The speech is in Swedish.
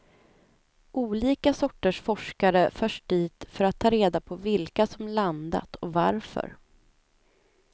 Olika sorters forskare förs dit för att ta reda på vilka som landat och varför.